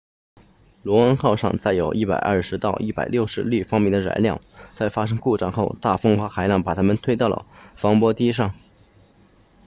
luno 号上载有 120-160 立方米的燃料在发生故障后大风和海浪把它推到了防波堤上